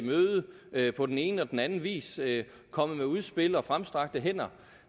møde på den ene og den anden vis vi er kommet med udspil og fremstrakte hænder